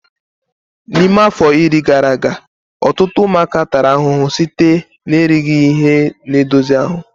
N'ime afọ iri gara aga, ọtụtụ ụmụaka tara ahụhụ site na erighị ihe na-edozi ahụ